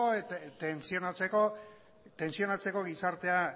tentsionatzeko gizartea